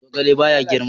Zogale ba ya girma.